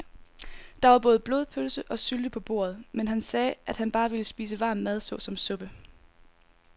Der var både blodpølse og sylte på bordet, men han sagde, at han bare ville spise varm mad såsom suppe.